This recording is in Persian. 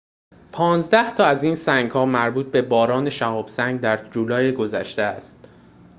پانزده تا از این سنگ‌ها مربوط به باران شهاب سنگ در جولای گذشته است